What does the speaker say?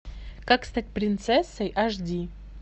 как стать принцессой аш ди